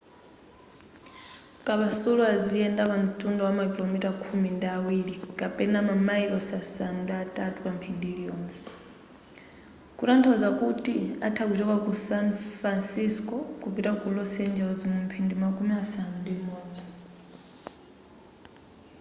kapasulu aziyenda pa ntunda wa makilomita khumi ndi awiri kapena mamilosi asanu ndi atatu pa mphindi iliyonse kutanthauza kuti atha kuchoka ku san fansisco kupita ku los angeles mu mphindi makumi asanu ndi imodzi